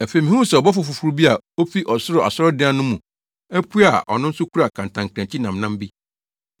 Afei mihuu sɛ ɔbɔfo foforo bi a ofi ɔsoro asɔredan no mu apue a ɔno nso kura kantankrankyi nnamnam bi.